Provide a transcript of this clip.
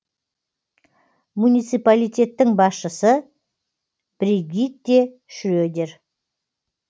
муниципалитеттің басшысы бригитте шредер